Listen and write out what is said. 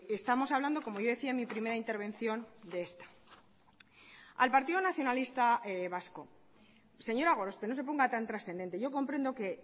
estamos hablando como yo decía en mi primera intervención de esta al partido nacionalista vasco señora gorospe no se ponga tan trascendente yo comprendo que